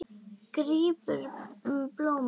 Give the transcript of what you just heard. Grípur um blómin.